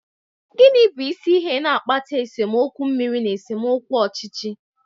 Gịnị bụ isi ihe na-akpata esemokwu mmiri na esemokwu ọchịchị?